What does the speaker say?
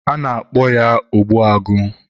a na-akpọ ya, ogbuagụ